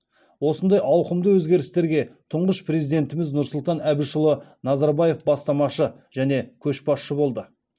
осындай ауқымды өзгерістерге тұңғыш президентіміз нұрсұлтан әбішұлы назарбаев бастамашы және көшбасшы болды